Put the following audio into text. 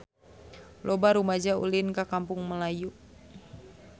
Loba rumaja ulin ka Kampung Melayu